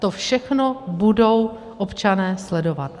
To všechno budou občané sledovat.